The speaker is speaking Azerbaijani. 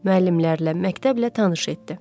Müəllimlərlə, məktəblə tanış elədi.